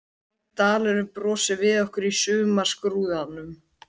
Grænn dalurinn brosir við okkur í sumarskrúðanum.